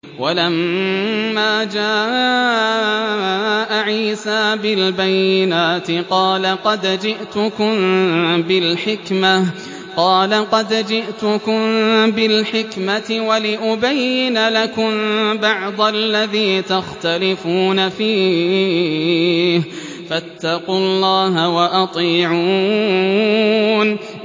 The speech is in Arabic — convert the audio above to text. وَلَمَّا جَاءَ عِيسَىٰ بِالْبَيِّنَاتِ قَالَ قَدْ جِئْتُكُم بِالْحِكْمَةِ وَلِأُبَيِّنَ لَكُم بَعْضَ الَّذِي تَخْتَلِفُونَ فِيهِ ۖ فَاتَّقُوا اللَّهَ وَأَطِيعُونِ